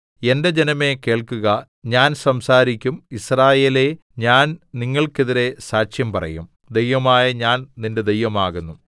എന്റെ ജനമേ കേൾക്കുക ഞാൻ സംസാരിക്കും യിസ്രായേലേ ഞാൻ നിങ്ങൾക്കെതിരെ സാക്ഷ്യം പറയും ദൈവമായ ഞാൻ നിന്റെ ദൈവമാകുന്നു